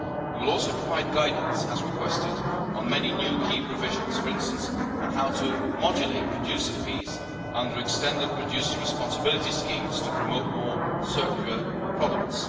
We will also provide guidance as requested on many new key provisions, for instance on how to modulate producer fees under extended producer responsibility schemes to promote more circular products.